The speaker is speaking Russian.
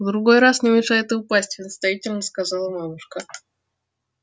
в другой раз не мешает и упасть наставительно сказала мамушка